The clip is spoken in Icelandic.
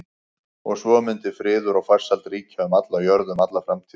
Og svo mundi friður og farsæld ríkja um alla jörð um alla framtíð.